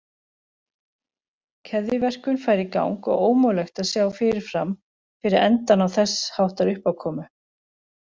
Keðjuverkun færi í gang og ómögulegt að sjá fyrirfram fyrir endann á þess háttar uppákomu.